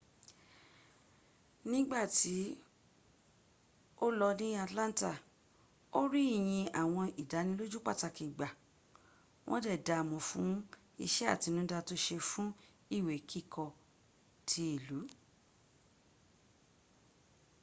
nígbàtí o lò ní atlanta ó rí ìyìn àwọn ìdánilójú pàtàkì gbà wọ́n dẹ̀ daamo fún iṣé àtinúdá to ṣe fún ìwé kíkọ́ ti ìlú